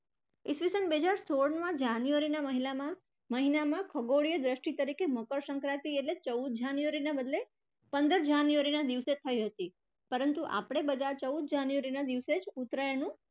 ઇસવીસન બે હજાર સોળમાં january અર મહિનામાં ખગોળીય દ્રષ્ટિ તરીકે મકરસંક્રાંતિ એટલે ચૌદ january ના બદલે પંદર january ના દિવસે થઇ હતી પરંતુ આપણે બધા ચૌદ january ના દિવસે જ ઉત્તરાયણનું